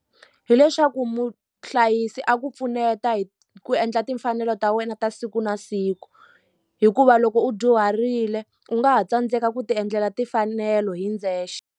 Hileswaku muhlayisi a ku pfuneta hi ku endla timfanelo ta wena ta siku na siku hikuva loko u dyuharile u nga ha tsandzeka ku ti endlela timfanelo hi ndzexe.